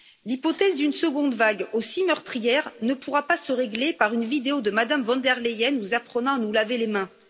L'hypothèse d'une seconde vague aussi meurtrière ne pourra pas se régler par une vidéo de Mme von der Leyen, nous apprenant à nous laver les mains.